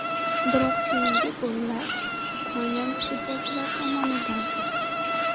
Biroq keyingi gollar ispaniyalik futbolchilar tomonidan urildi.